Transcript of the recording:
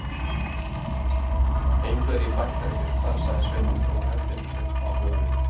Engu er ég bættari fyrir það, sagði Sveinn og dró höttinn upp á höfuðið.